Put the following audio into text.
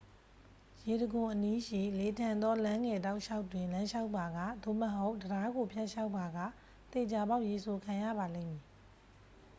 ရေတံခွန်အနီးရှိ လေထန်သောလမ်းငယ်တောက်လျှောက်တွင် လမ်းလျှောက်ပါက သို့မဟုတ် တံတားကိုဖြတ်လျှောက်ပါက သေချာပေါက်ရေစိုခံရပါလိမ့်မည်